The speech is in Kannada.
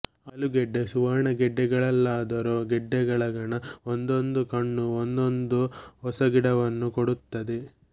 ಆಲೂಗಡ್ಡೆ ಸುವರ್ಣಗೆಡ್ಡೆಗಳಲ್ಲಾದರೋ ಗೆಡ್ಡೆಯೊಳಗಣ ಒಂದೊಂದು ಕಣ್ಣೂ ಒಂದೊಂದು ಹೊಸಗಿಡವನ್ನು ಕೊಡುತ್ತದೆ